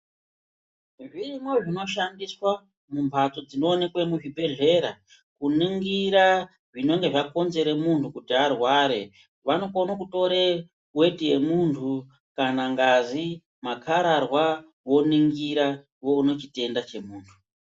Zvirimwo zvinoshandiswa mumbatso dzinoonekwa muzvibhedhlera kuningira zvinenge zvakonzera muntu kuti arware vanokone kutore weti yemundu kana ngazi makararwa voningira voone chitenda chemuntu.